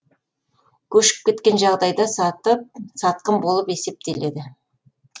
көшіп кеткен жағдайда сатқын болып есептеледі